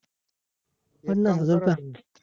पन्नास हजार का